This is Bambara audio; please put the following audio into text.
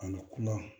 Ani kuya